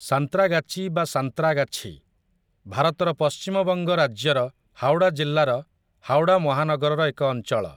ସାନ୍ତ୍ରାଗାଚି ବା ସାନ୍ତ୍ରାଗାଛି, ଭାରତର ପଶ୍ଚିମବଙ୍ଗ ରାଜ୍ୟର ହାୱଡ଼ା ଜିଲ୍ଲାର ହାୱଡ଼ା ମହାନଗରର ଏକ ଅଞ୍ଚଳ ।